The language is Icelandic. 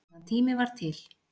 Meðan tími var til.